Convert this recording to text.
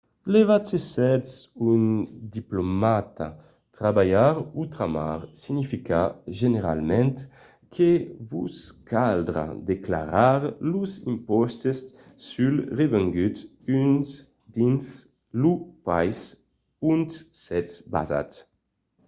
levat se sètz un diplomata trabalhar otramar significa generalament que vos caldrà declarar los impòstes sul revengut dins lo país ont sètz basat